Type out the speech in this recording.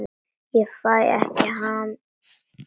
Ég fæ ekki hamið mig.